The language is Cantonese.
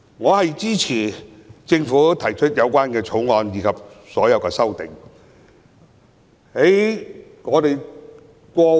我支持政府提出這項《條例草案》及所有修正案。